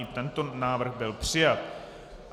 I tento návrh byl přijat.